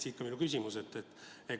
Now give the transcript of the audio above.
Siit ka minu küsimus.